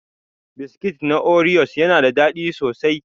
Biskit na oriyos yana da daɗi sosai.